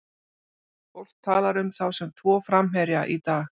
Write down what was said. Fólk talar um þá sem tvo framherja í dag.